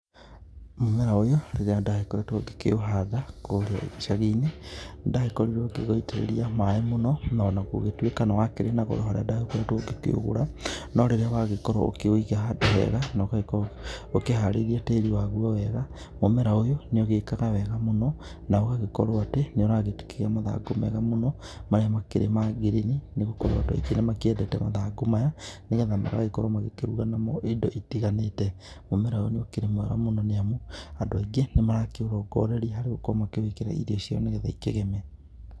Mũmera ũyũ rĩrĩa ndakoretwo gĩkĩũhanda kũrĩa icagĩ inĩ nĩdagĩkorĩrwo gĩgũitĩrĩrĩa maĩ mũno na ona kũgĩtũĩka nĩ wakĩrĩ na goro harĩa ndakoretwo gĩkĩũgũra no rĩrĩa wagĩkorwo ũkĩwĩga hado hega na ũgĩkorwo nĩ ũkĩharĩrĩa tarĩ wagũo wega mũmera ũyũ nĩũkorgawo ũgĩeka wega mũno na ũgagĩkorwo atĩ mega mũno marĩa makoragwo makĩrũganamo ido itiganĩte mũmera ũyũ nĩ ũkĩrĩ mwega mũno nĩ amũ andũ aĩngĩ nĩmarakĩũrogorerĩa harĩa marĩa marakĩrwo makĩwĩkĩra irĩo ciao nĩgetha ikĩgeme.